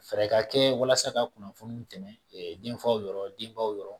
Fɛɛrɛ ka kɛ walasa ka kunnafoni tɛmɛ denfaw yɔrɔ denbaw